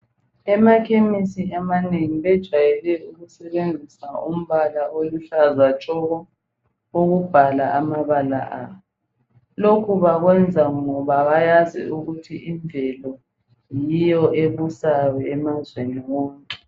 Emakhemisi amanengi bejwayele ukusebenzisa umbala oluhlaza tshoko ukubhala amabala abo. Lokhu bakwenza ngoba bayazi ukuthi imvelo yiyo ebusayo emazweni wonke.